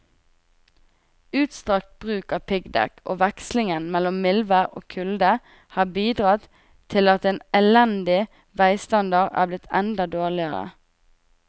Utstrakt bruk av piggdekk og vekslingen mellom mildvær og kulde har bidratt til at en elendig veistandard er blitt enda dårligere.